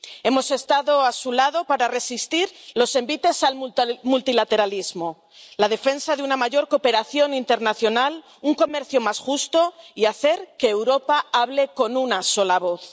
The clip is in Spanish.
Hemos estado a su lado para resistir los envites al multilateralismo, para la defensa de una mayor cooperación internacional, de un comercio más justo y para hacer que Europa hable con una sola voz.